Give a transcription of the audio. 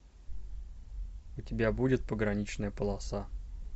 у тебя будет пограничная полоса